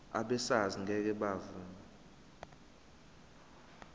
abesars ngeke bavuma